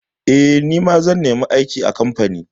Eh, zan nemi aiki a kamfani.